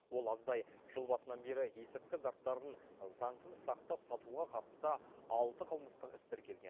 ол аздай жыл басынан бері есірткі заттарын заңсыз сақтап сатуға қатысты алты қылмыстық іс тіркелген